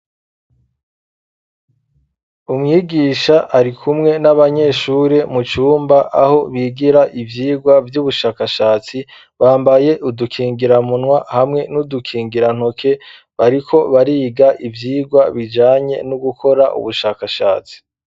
Umwigisha ari kumwe n'abanyeshure mu cumba aho bigira ivyigwa vy'ubushakashatsi bambaye udukingira munwa hamwe n'udukingira ntoke bariko bariga ivyigwa bijanye no gukora ubushakashatsi.